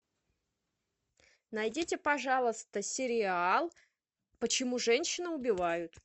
найдите пожалуйста сериал почему женщины убивают